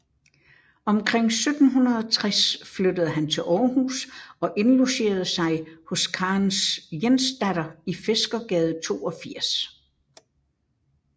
Omkring 1760 flyttede han til Århus og indlogerede sig hos Karens Jensdatter i Fiskergade 82